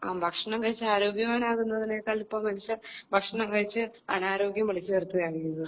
ആ ഭക്ഷണം കഴിച്ച് ആരോഗ്യവാനാകുന്നതിനേക്കാൾ മെച്ചം ഭക്ഷണം കഴിച്ച് അനാരോഗ്യം വിളിച്ചുവരുത്തുകയാണ് ചെയ്യുന്നത്